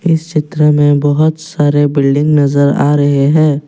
इस चित्र में बहुत सारे बिल्डिंग नजर आ रहे हैं।